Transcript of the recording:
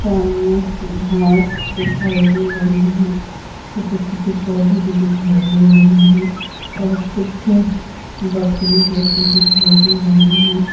सामने घास दिखाई दे रही हैं छोटे छोटे पौधे भी दिखाई दे रहे हैं और कुछ बकरी जैसे दिखाई दे रहे हैं।